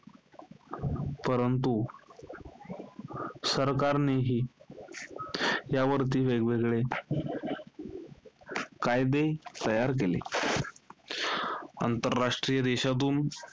परंतु, सरकारनेही यावरती वेगवेगळे कायदे तयार केले. आंतरराष्ट्रीय देशातून,